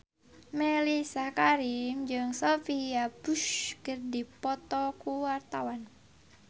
Mellisa Karim jeung Sophia Bush keur dipoto ku wartawan